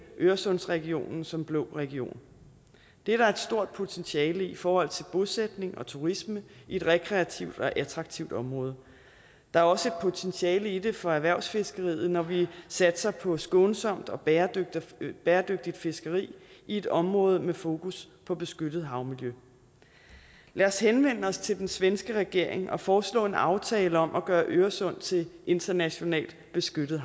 øresundsregionen som blå region det er der et stort potentiale i i forhold til bosætning og turisme i et rekreativt og attraktivt område der er også et potentiale i det for erhvervsfiskeriet når vi satser på skånsomt og bæredygtigt bæredygtigt fiskeri i et område med fokus på beskyttet havmiljø lad os henvende os til den svenske regering og foreslå en aftale om at gøre øresund til internationalt beskyttet